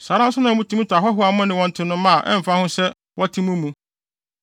Saa ara nso na mutumi tɔ ahɔho a mo ne wɔn te no mma a ɛmfa ho sɛ wɔte mo mu.